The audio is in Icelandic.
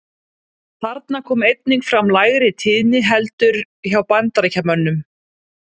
Þarna kom einnig fram lægri tíðni heldur hjá Bandaríkjamönnum.